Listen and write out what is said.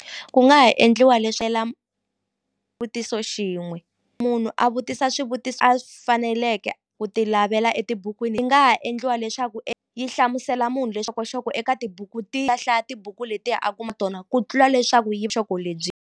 Ku nga ha endliwa xin'we munhu a vutisa swivutiso a faneleke ku ti lavela etibukwini yi nga ha endliwa leswaku yi hlamusela munhu eka tibuku a hlaya tibuku letiya a kuma tona ku tlula leswaku yi lebyi.